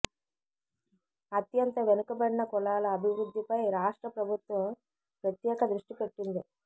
అత్యంత వెనుకబడిన కులాల అభివృద్ధి పై రాష్ట్ర ప్రభుత్వం ప్రత్యేక దృష్టి పెట్టింది